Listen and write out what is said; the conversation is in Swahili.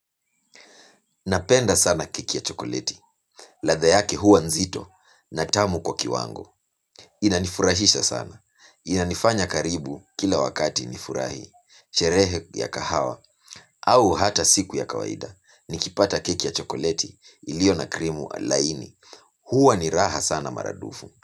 Napenda sana keki ya chokoleti. Ladha yake huwa nzito na tamu kwa kiwango. Inanifurashisha sana. Inanifanya karibu kila wakati nifurahi. Sherehe ya kahawa au hata siku ya kawaida. Nikipata keki ya chokoleti ilio na krimu laini. Huwa ni raha sana mara dufu.